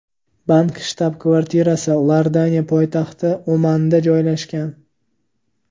Bank shtab-kvartirasi Iordaniya poytaxti Ommanda joylashgan.